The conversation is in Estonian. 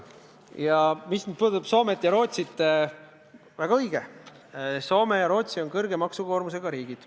Mis puudutab Soomet ja Rootsit, siis väga õige: Soome ja Rootsi on suure maksukoormusega riigid.